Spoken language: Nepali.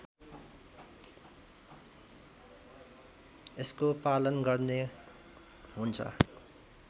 यसको पालन गर्ने हुन्छ